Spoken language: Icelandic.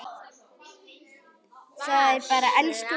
Það er bara elsku Vala.